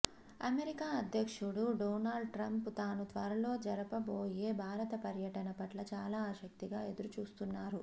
America అధ్యక్షుడు Donald Trump తాను త్వరలో జరపబోయే భారత పర్యటన పట్ల చాలా ఆసక్తిగా ఎదురు చూస్తున్నారు